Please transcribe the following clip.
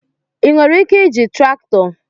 Ị nwere ike iji traktọ?